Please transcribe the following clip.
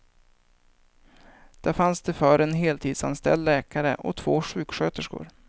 Där fanns det förr en heltidsanställd läkare och två sjuksköterskor.